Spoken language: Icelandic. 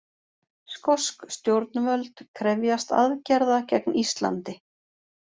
Skosk stjórnvöld krefjast aðgerða gegn Íslandi